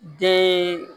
Den